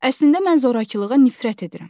Əslində mən zorakılığa nifrət edirəm.